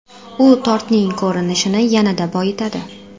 U tortning ko‘rinishini yanada boyitadi.